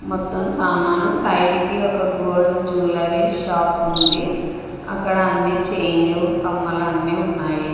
మొత్తం సామాను సైడ్ కి ఒక గోల్డ్ జువలరీ షాప్ ఉంది అక్కడ అన్ని చైన్లు కమ్మలు అన్నీ ఉన్నాయి.